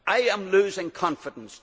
I am losing confidence.